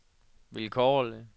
vilkårlig